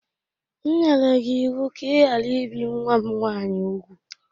M nyere gi iwu ka i ghara ibi nwa m nwaanyị úgwù!